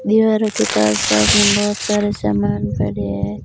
दीवारों के पास पास में बहोत सारे सामान पड़े हैं।